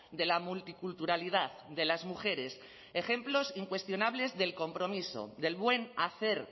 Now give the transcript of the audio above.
de la multiculturalidad de las mujeres ejemplos incuestionables del compromiso del buen hacer